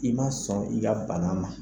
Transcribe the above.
I ma sɔn i ka bana ma